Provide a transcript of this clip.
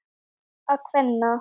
bolta kvenna.